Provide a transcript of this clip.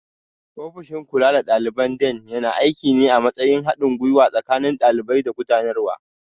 Ofishin kula da daliban Dean yana aiki ne a matsayin haɗin gwiwa tsakanin ɗalibai da gudanarwa.